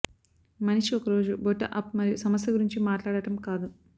మనిషి ఒక రోజు బొడ్డు అప్ మరియు సమస్య గురించి మాట్లాడటం కాదు